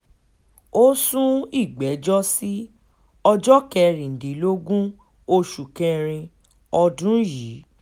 ó sún ìgbẹ́jọ́ sí ọjọ́ kẹrìndínlógún oṣù kẹrin ọdún yìí